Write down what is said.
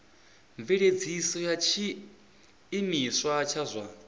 mveledziso ya tshiimiswa tsha zwa